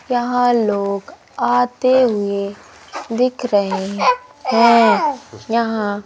यहां लोग आते हुए दिख रहे हैं। यहां--